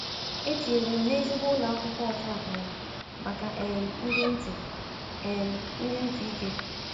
E tinyere m n’ezigbo ụlọ akwụkwọ ọta akara maka um ndị ntị um ndị ntị ike.